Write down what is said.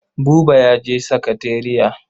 Buba ya je sakatariya.